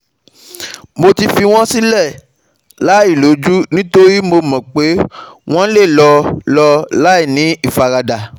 mo ti fi wọ́n sílẹ̀ láìlójú nítorí mo mọ̀ pé wọ́n lè lọ lọ láìní ìfaradà